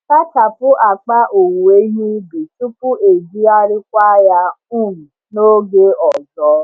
Sachapụ akpa owuwe ihe ubi tupu ejigharịkwa ya um n’oge ọzọ.